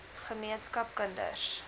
ge meenskap kinders